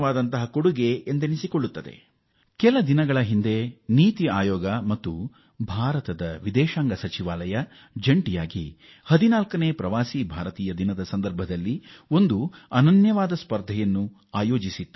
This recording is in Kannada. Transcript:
ಇತ್ತೀಚೆಗೆ 14ನೇ ಪ್ರವಾಸಿ ಭಾರತೀಯ ದಿವಸ್ ನಲ್ಲಿ ನೀತಿ ಆಯೋಗ ಮತ್ತು ಭಾರತೀಯ ವಿದೇಶಾಂಗ ಸಚಿವಾಲಯ ಒಂದು ವಿಶಿಷ್ಟ ಸ್ಪರ್ಧೆಯನ್ನು ಏರ್ಪಡಿಸಿತ್ತು